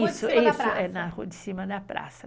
Isso, é na Rua de Cima da Praça.